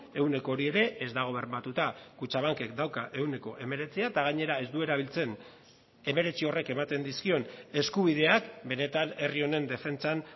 ehuneko hori ere ez dago bermatuta kutxabankek dauka ehuneko hemeretzia eta gainera ez du erabiltzen hemeretzi horrek ematen dizkion eskubideak benetan herri honen defentsan